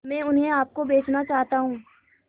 मैं उन्हें आप को बेचना चाहता हूं